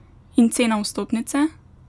In cena vstopnice?